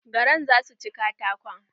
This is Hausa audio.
Garan za su ci katakon.